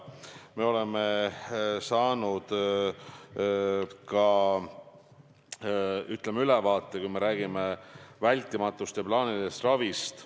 Me oleme saanud ka ülevaate vältimatust ja plaanilisest ravist.